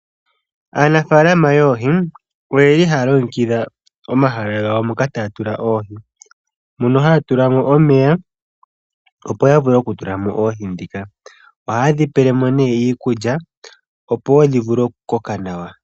Aanafaalama yoohi oyeli haya longekidha omahala gawo moka taya tula oohi. Mono haya tulamo omeya opo ya vule oku tulamo oohi dhika. Ohayedhi pelemo nee iikulya, opo wo dhivule oku koka nawa.